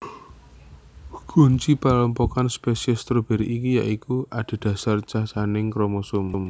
Kunci panglompokan spesies stroberi iki ya iku adhedhasar cacahing kromosomé